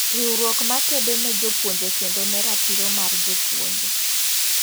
Riwruok makedo ne jopuonje kedo ne ratiro mar jopuonje.